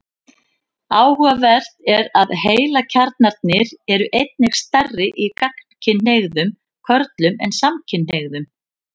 Áhugavert er að heilakjarnarnir eru einnig stærri í gagnkynhneigðum körlum en samkynhneigðum.